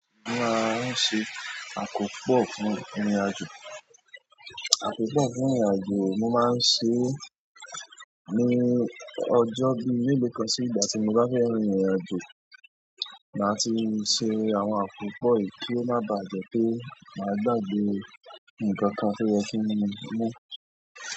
Mo máa ń ṣe àkópọ̀ fún ìrìnàjò. Àkópọ̀ fún ìrìnàjò mo máa ń ṣe ní ọjọ́ bí melo kan sí ìgbà tí mo bá fẹ́ rin ìrìnàjò. Màá ti ṣe àwọn àkópọ̀ yí kí ó má bà jẹ́ pé màá gbàgbé nǹkan kan tí ó yẹ kí n mú.